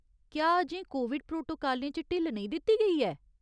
क्या अजें कोविड प्रोटोकालें च ढिल्ल नेईं दित्ती गेई ऐ ?